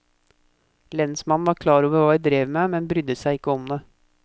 Lensmannen var klar over hva vi drev med, men brydde seg ikke om det.